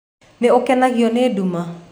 Nĩ ũkenagio nĩ nduma?